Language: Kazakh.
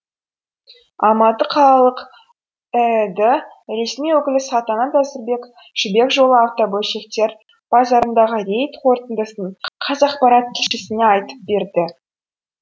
алматы қалалық іід ресми өкілі салтанат әзірбек жібек жолы автобөлшектер базарындағы рейд қорытындысын қазақпарат тілшісіне айтып берді